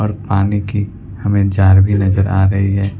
और पानी की हमे जार भी नजर आ रही है।